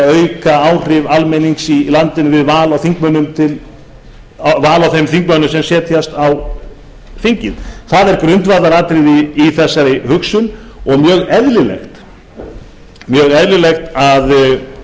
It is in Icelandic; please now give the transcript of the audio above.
auka áhrif almennings í landinu við val á þeim þingmönnum sem setjast á þing það er grundvallaratriði í þessari hugsun og mjög eðlilegt að